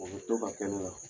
O bɛ to ka kɛ ne la.